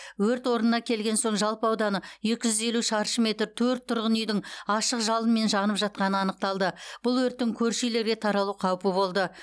өрт орнына келген соң жалпы ауданы екі жүз елу шаршы метр төрт тұрғын үйдің ашық жалынмен жанып жатқаны анықталды бұл өрттің көрші үйлерге таралу қаупі болды